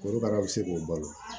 Korokara bɛ se k'o balo